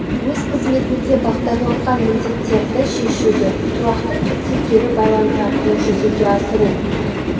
өз қызметінде бағдарланған міндеттерді шешуді тұрақты түрде кері байланыс арқылы жүзеге асыру